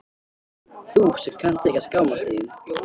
Þú sem kannt ekki að skammast þín.